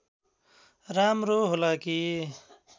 राम्रो होला कि